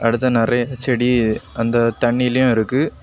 இப்படித்தான் நெறைய செடி அந்த தண்ணீலயும் இருக்கு.